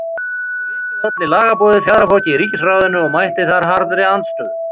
Fyrir vikið olli lagaboðið fjaðrafoki í ríkisráðinu og mætti þar harðri andstöðu.